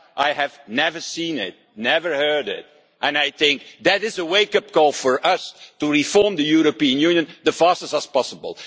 I have never seen it, never heard it before, and I think that it is a wake up call for us to reform the European Union as fast as possible.